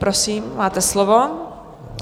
Prosím, máte slovo.